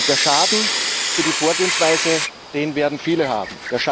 Den Schaden für die Vorgehensweise, den werden viele haben.